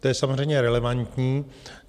To je samozřejmě relevantní.